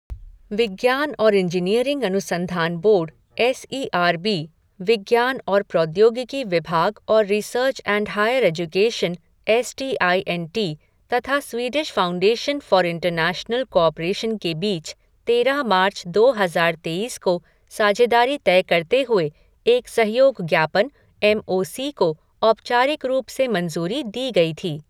विज्ञान और इंजीनियरिंग अनुसंधान board S E R B, विज्ञान और प्रौद्योगिकी विभाग और research and higher education S T I N T तथा Swedish foundation for international cooperation के बीच तेरह मार्च, दो हजार तेईस को साझेदारी तय करते हुए एक सहयोग ज्ञापन एम ओ सी को औपचारिक रूप से मंजूरी दी गई थी।